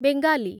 Bengali